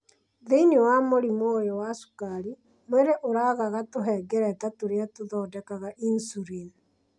Thĩinĩ wa mũrimũ ũyũ wa cukari, mwĩrĩ ũragaga tũhengereta tũrĩa tũthondekaga insulin